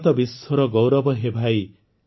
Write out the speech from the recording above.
ଭାରତ ବିଶ୍ୱର ଗୌରବ ହେ ଭାଇ